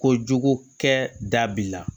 Kojugu kɛ da b'i la